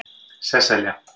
Sesselja